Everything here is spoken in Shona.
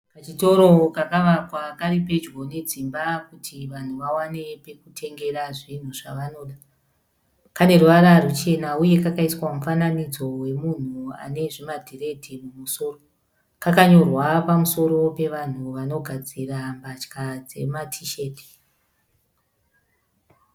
Kachitoro kakavakwa karipedyo nedzimba kuti vanhu vawane pekutengera zvinhu zvavanoda. Kane ruvara ruchena uye kakaiswa mufananidzo wemunhu anezvimadhiredhi mumusoro .Kakanyorwa pamusoro pevanhu vanogadzira mbatya dzematisheti.